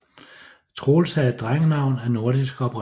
Troels er et drengenavn af nordisk oprindelse